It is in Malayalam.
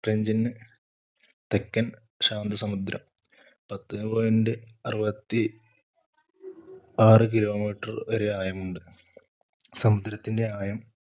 ട്രെഞ്ചിന് തെക്കൻ ശാന്തസമുദ്രം പത്തേ point അറുപത്തി ആറു kilometer വരെ ആയമുണ്ട്. സമുദ്രത്തിന്റെ ആയം